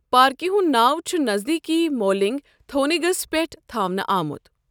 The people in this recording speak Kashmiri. پارکہِ ہُنٛد ناو چُھ نزدیٖکی مولِنٛگ تھو٘نگِس پٮ۪ٹھ تھاونہٕ آمُت۔